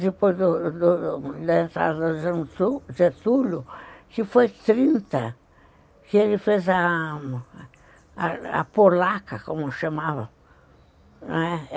Depois do do da entrada do Getúlio, que foi trinta, que ele fez a a Polaca, como chamava, não é?